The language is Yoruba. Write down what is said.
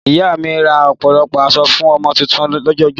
Ìyá mi rà ọ̀pọ̀lọpọ̀ aṣọ fún ọmọ tuntun jòjòló